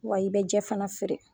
Wa i bɛ jɛ fana feere.